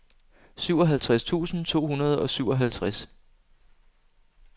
syvoghalvtreds tusind to hundrede og syvoghalvtreds